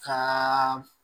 Ka